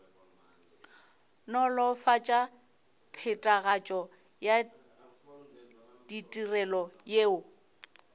nolofatša phethagatšo ya ditirelo yeo